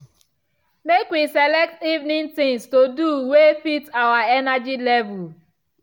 make we select evening things to do way fit our energy level.